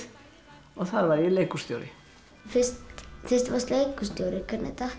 og þar var ég leikhússtjóri fyrst þú varst leikhússtjóri hvernig datt þér